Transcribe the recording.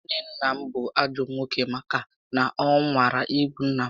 Nwanne nna m bú ajọ nwoke màkà na ọ nwara igbu nnà m